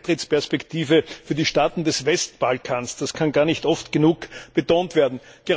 Beitrittsperspektive für die Staaten des Westbalkan, das kann gar nicht oft genug betont werden.